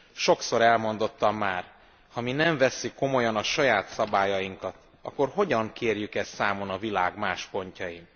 Sokszor elmondottam már ha mi nem vesszük komolyan a saját szabályainkat, akkor hogyan kérjük ezt számon a világ más pontjain?